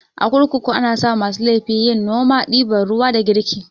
A kurkuku anasa masu laifi yin noma, ɗiban ruwa da girki